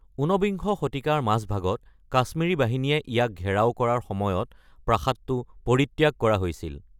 উনবিংশ শতিকাৰ মাজভাগত কাশ্মীৰী বাহিনীয়ে ইয়াক ঘেৰাও কৰাৰ সময়ত প্ৰাসাদটো পৰিত্যাগ কৰা হৈছিল।